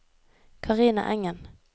Carina Engen